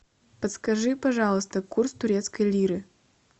подскажи пожалуйста курс турецкой лиры